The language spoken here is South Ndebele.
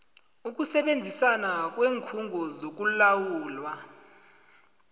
ukusebenzisana kweenkhungo zokulawulwa